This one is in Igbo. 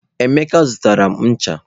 Emeka zụtara m ncha.